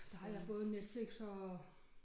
Der har jeg både Netflix og